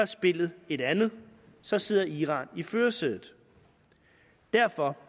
spillet et andet så sidder iran i førersædet derfor